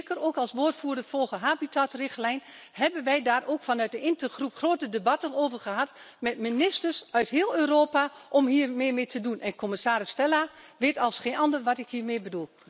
Zeker ook als woordvoerder voor de Habitatrichtlijn hebben wij daar mede vanuit de intergroep grote debatten over gehad met ministers uit heel Europa om hier meer mee te doen. Commissaris Vella weet als geen ander wat ik hiermee bedoel.